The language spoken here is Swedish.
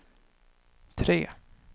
tre